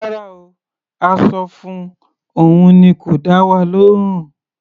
Rárá o. A sọ fun, òun ni kò dá wa lóhùn.